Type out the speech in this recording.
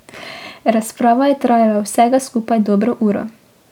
Razprava je trajala vsega skupaj dobro uro.